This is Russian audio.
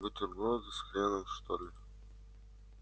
бутерброды с хреном что ли